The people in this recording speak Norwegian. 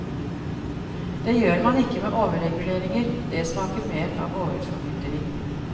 Det gjør man ikke med overreguleringer, det smaker mer av overformynderi.